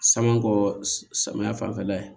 Sama kɔ samiya fanfɛla ye